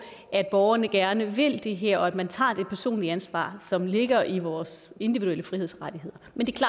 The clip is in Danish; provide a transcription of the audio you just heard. at borgerne gerne vil det her og at man tager det personlige ansvar som ligger i vores individuelle frihedsrettigheder